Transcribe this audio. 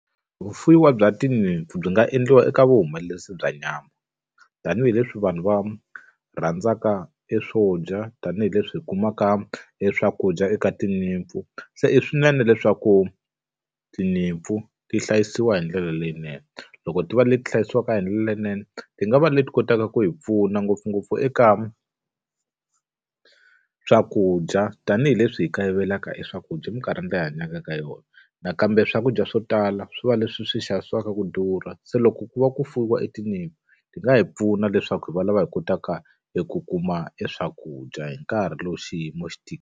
Vufuwiwa bya tinyimpfu byi nga endliwa eka vuhumelerisi bya nyama. Tanihi leswi vanhu va rhandzaka e swo dya tanihileswi hi kumaka e swakudya eka tinyimpfu. Se i swinene leswaku tinyimpfu ti hlayisiwa hi ndlela leyinene. Loko ti va leti hlayisiwaka hi ndlela leyinene, ti nga va leti kotaka ku hi pfuna ngopfungopfu eka swakudya tanihileswi hi kayivelaka eswakudya eminkarhini leyi hi hanyaka ka yona. Nakambe swakudya swo tala swi va leswi hi swi xavisiwaka ku durha se loko ku va ku fuwiwa etinyimpfu, ti nga hi pfuna leswaku hi va lava hi kotaka hi ku kuma eswakudya hi nkarhi lowu xiyimo xi .